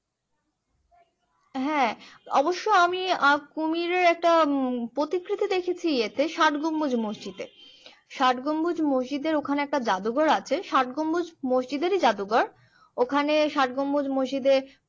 হ্যাঁ অবশ্য আমি আহ কুমিরের একটা উম প্রতিকৃতি দেখেছি এতে ষাট গম্বুজ মসজিদে ষাট গম্বুজ মসজিদের ওখানে একটা জাদুঘর আছে ষাট গম্বুজ মসজিদেরই জাদুঘর ওখানে ষাট গম্বুজ মসজিদে